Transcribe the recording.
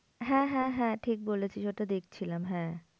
হ্যাঁ হ্যাঁ হ্যাঁ ঠিক বলেছিস ওটা দেখছিলাম হ্যাঁ।